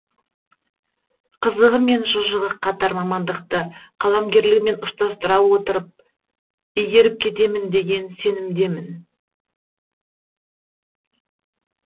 қызығы мен шыжығы қатар мамандықты қаламгерлігіммен ұштастыра игеріп кетемін деген сенімдемін